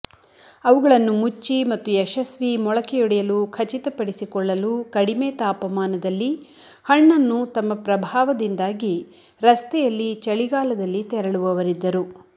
ಅವುಗಳನ್ನು ಮುಚ್ಚಿ ಮತ್ತು ಯಶಸ್ವಿ ಮೊಳಕೆಯೊಡೆಯಲು ಖಚಿತಪಡಿಸಿಕೊಳ್ಳಲು ಕಡಿಮೆ ತಾಪಮಾನದಲ್ಲಿ ಹಣ್ಣನ್ನು ತಮ್ಮ ಪ್ರಭಾವದಿಂದಾಗಿ ರಸ್ತೆಯಲ್ಲಿ ಚಳಿಗಾಲದಲ್ಲಿ ತೆರಳುವವರಿದ್ದರು